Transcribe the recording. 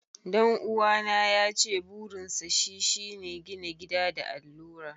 Dan'uwana yace burinsa shi shi ne gina gida da allura.